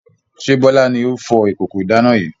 Ṣé Bọlá ni ó fọ ìkókó ìdáná yìí?